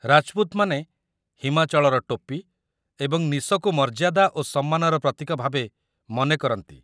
ରାଜପୁତମାନେ ହିମାଚଳର ଟୋପି ଏବଂ ନିଶକୁ ମର୍ଯ୍ୟାଦା ଓ ସମ୍ମାନର ପ୍ରତୀକ ଭାବେ ମନେ କରନ୍ତି